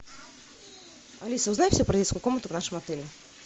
алиса узнай все про детскую комнату в нашем отеле